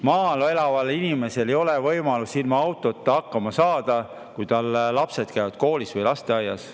Maal elaval inimesel ei ole võimalik ilma autota hakkama saada, kui tal lapsed käivad koolis või lasteaias.